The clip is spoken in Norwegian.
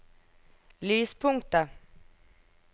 lyspunktet